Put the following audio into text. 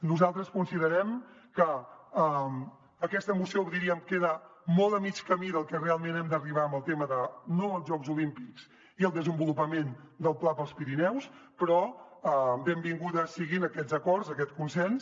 nosaltres considerem que aquesta moció diríem queda molt a mig camí d’on realment hem d’arribar amb el tema del no als jocs olímpics i el desenvolupament del pla per als pirineus però benvinguts siguin aquests acords aquest consens